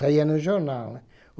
Saía no jornal, né.